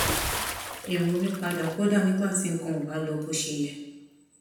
èrò mi padà kódà nígbà tí nǹkan ò bá lọ bó ṣe yẹ